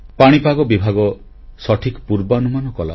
ପାଣିପାଗ ବିଭାଗ ସଠିକ୍ ପୂର୍ବାନୁମାନ କଲା